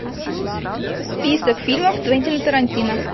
список фильмов квентина тарантино